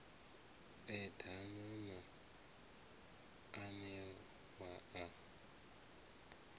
eḓana na a we a